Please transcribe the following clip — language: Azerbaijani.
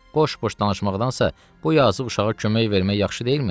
Boş-boş danışmaqdansa bu yazıq uşağa kömək vermək yaxşı deyilmi?